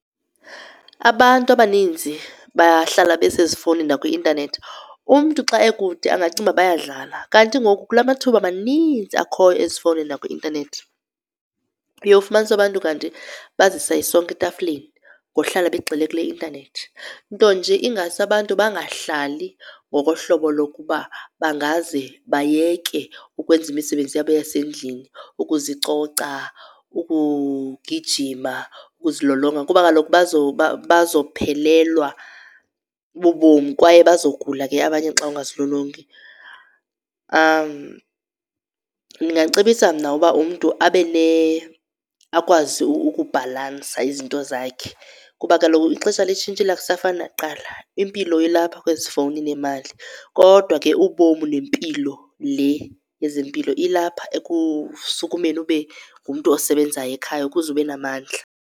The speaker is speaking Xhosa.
Abantu abaninzi bahlala besezifowunini nakwi-intanethi umntu. Xa ekude angacinga ukuba bayadlala, kanti ngoku kula mathuba maninzi akhoyo ezifowunini nakwi-intanethi uyowufumanisa abantu kanti bazisa isonka etafileni ngohlala begxile kule intanethi. Nto nje ingase abantu bangahlali ngokohlobo lokuba bangaze bayeke ukwenza imisebenzi yabo yasendlini, ukuzicoca, ukugijima, ukuzilolonga kuba kaloku bazophelelwa bubomi kwaye bazogula ke abanye xa ungazilolongi. Ndingacebisa mna uba umntu akwazi ukubhalansa izinto zakhe kuba kaloku ixesha litshintshile ukusafani nakuqala, impilo ilapha kwezi fowuni nemali. Kodwa ke ubomi nempilo le yezempilo ilapha ekusukumeni ube ngumntu osebenzayo ekhaya ukuze ube namandla.